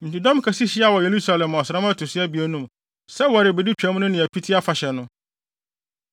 Enti dɔm kɛse hyiaa wɔ Yerusalem ɔsram a ɛto so abien no mu, sɛ wɔrebedi Twam no ne Apiti Afahyɛ no.